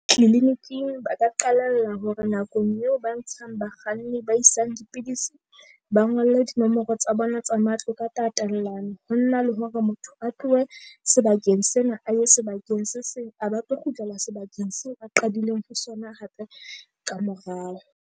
Clinic-ing ba ka qalella hore nakong eo ba ntshang bakganni ba isang dipidisi, ba ngolle dinomoro tsa bona tsa matlo ka tatellano. Ho nna le hore motho a tlohe sebakeng sena, a ye sebakeng se seng a ba tlo kgutlela sebakeng seo ba qadileng ho sona hape kamorao.